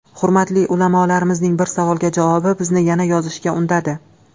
Hurmatli ulamolarimizning bir savolga javobi bizni yana yozishga undadi.